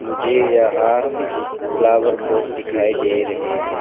मुझे यहां flower pot दिखाई दे रहे हैं।